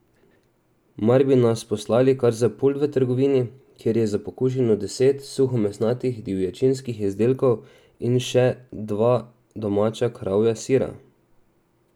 Mar bi nas poslali kar za pult v trgovini, kjer je za pokušino deset suhomesnatih divjačinskih izdelkov in še dva domača kravja sira!